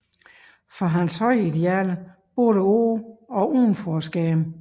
For hans høje idealer både på og uden for skærmen